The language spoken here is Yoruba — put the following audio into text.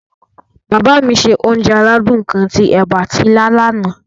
Bàbá mi se onje aládún kan ti ẹ̀ba ati ilá lana.